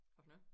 Hvad for noget?